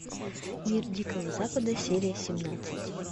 мир дикого запада серия семнадцать